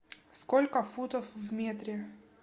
сколько футов в метре